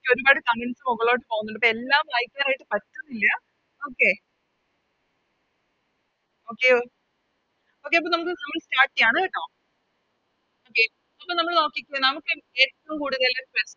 ഒരുപാട് Comments മൊകളിലോട്ട് പോകുന്നുണ്ട് അപ്പൊ എല്ലാം വായിക്കാനായിട്ട് പറ്റുന്നില്ല Okay okay okay അപ്പൊ നമുക്ക് നമ്മള് Start ചെയ്യാണ് കേട്ടോ Okay അപ്പൊ നമ്മള് നോക്കിക്കേ എ ഏറ്റോം കൂടുതല്